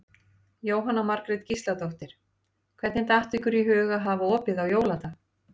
Jóhanna Margrét Gísladóttir: Hvernig datt ykkur í hug að hafa opið á jóladag?